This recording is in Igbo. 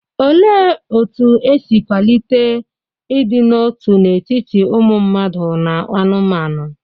Olee otú e si kwalite ịdị n'otu n'etiti ụmụ mmadụ na anụmanụ?